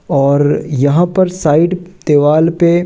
और यहां पर साइड दीवाल पे--